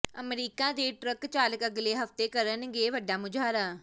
America ਦੇ truck ਚਾਲਕ ਅਗਲੇ ਹਫ਼ਤੇ ਕਰਨਗੇ ਵੱਡਾ ਮੁਜ਼ਾਹਰਾ